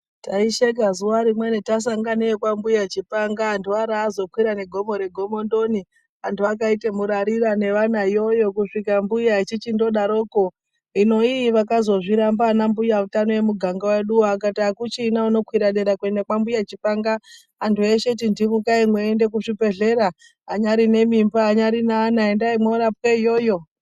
Taisheka zuwa rimweni tasanganeyo kwambuya chipanga antu ara azokwira negomo re gomondoni anhu akaite murarira nevana ikweyo kusvika mbuya echichindodaroko hino iyi akazozviramba vanambuya utano emugagnga weduwo ,akati akuchina unokwira kuende kwambuya chipanga antu eshe tindimukai mweiyende kuzvibhehleya anyari nemimba anyari neana endai mworapwe iyoyo.